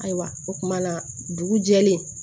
Ayiwa o kumana dugu jɛlen